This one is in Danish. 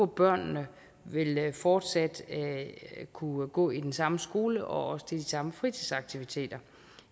børnene fortsat vil kunne gå i den samme skole og også til de samme fritidsaktiviteter